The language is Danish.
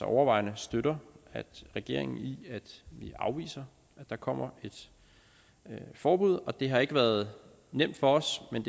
overvejende støtter regeringen i at vi afviser at der kommer et forbud det har ikke været nemt for os men